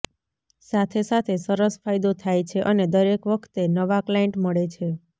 સાથે સાથે સરસ ફાયદો થાય છે અને દરેક વખતે નવા ક્લાયન્ટ મળે છે